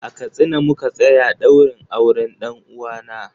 A Katsina muka tsaya ɗaurin auren ɗan uwana.